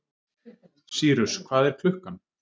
Sýrus, hvað er klukkan?